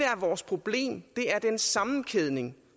er vores problem er den sammenkædning